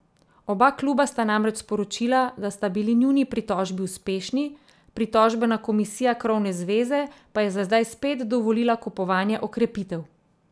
Oba kluba sta namreč sporočila, da sta bili njuni pritožbi uspešni, pritožbena komisija krovne zveze pa je za zdaj spet dovolila kupovanje okrepitev.